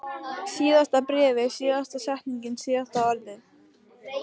Síðasta bréfið, síðasta setningin, síðasta orðið.